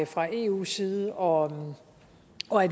fra eus side og